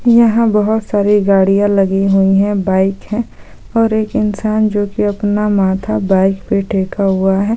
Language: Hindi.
यहां बहुत सारी गाड़ियां लगी हुई हे बाइक है ओर एक इंसान जो की अपना माथा बाइक पे टेक हुआ है ।